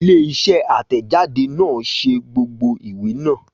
Ilé isé àtẹ̀jáde náà ṣe gbogbo ìwé náà